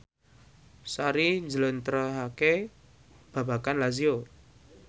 Sari njlentrehake babagan Lazio